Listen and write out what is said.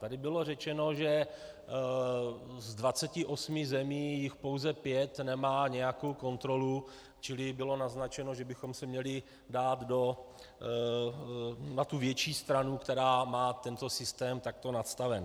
Tady bylo řečeno, že z 28 zemí jich pouze pět nemá nějakou kontrolu, čili bylo naznačeno, že bychom se měli dát na tu větší stranu, která má tento systém takto nastaven.